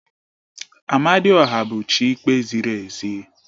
Amadioha bụ chi ikpe ziri ezi